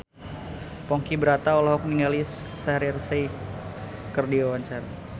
Ponky Brata olohok ningali Shaheer Sheikh keur diwawancara